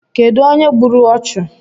Kedụ onye gburu ọchụ?